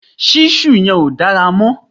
ṣísù yẹn ò dára mọ̀